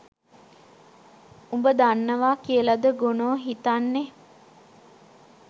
උබ දන්නවා කියලද ගොනෝ හිතන්නේ.